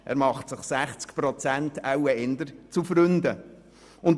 Er macht sich eher 60 Prozent zu Freunden.